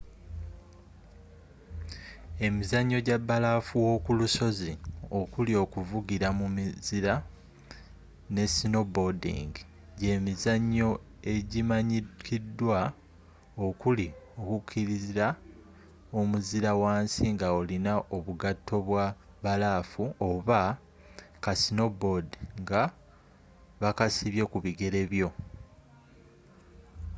emizannyo gya bbalaafu w'okulusozi okuli okuvugira mu muzira ne snowboarding gye mizannyo egimanyikiddwa okuli okukirira omuzira wansi nga olina obugatto bwa bbalaafu oba ka snowboard nga bakasibye ku bigere byo